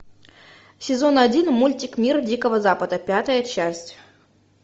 сезон один мультик мир дикого запада пятая часть